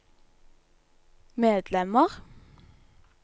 medlemmer